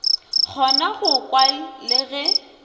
kgona go kwa le ge